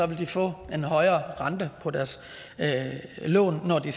vil de få en højere rente på deres lån når de